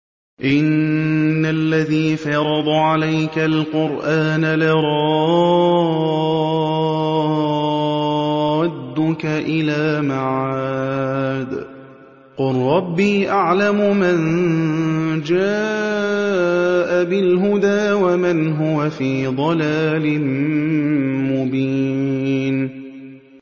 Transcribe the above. إِنَّ الَّذِي فَرَضَ عَلَيْكَ الْقُرْآنَ لَرَادُّكَ إِلَىٰ مَعَادٍ ۚ قُل رَّبِّي أَعْلَمُ مَن جَاءَ بِالْهُدَىٰ وَمَنْ هُوَ فِي ضَلَالٍ مُّبِينٍ